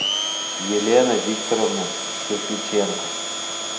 елена викторовна кирпиченко